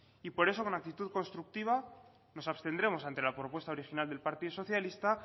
y por eso con actitud constructiva nos abstendremos ante la propuesta original del partido socialista